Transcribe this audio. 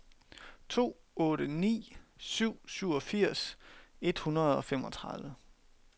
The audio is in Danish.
to otte ni syv syvogfirs et hundrede og femogtredive